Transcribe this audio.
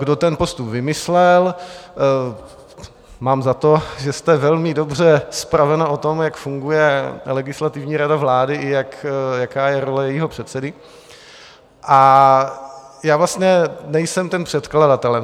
Kdo ten postup vymyslel: mám za to, že jste velmi dobře zpravena o tom, jak funguje Legislativní rada vlády i jaká je role jejího předsedy, a já vlastně nejsem tím předkladatelem.